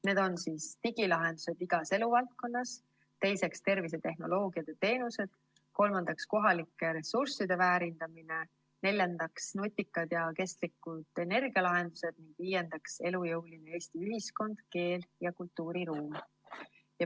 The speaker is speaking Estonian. Need on: esiteks, digilahendused igas eluvaldkonnas; teiseks, tervisetehnoloogiad ja ‑teenused; kolmandaks, kohalike ressursside väärindamine; neljandaks, nutikad ja kestlikud energialahendused; viiendaks, elujõuline Eesti ühiskond, keel ja kultuuriruum.